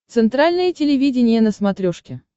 центральное телевидение на смотрешке